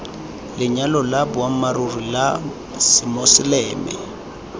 lenyalo la boammaaruri la semoseleme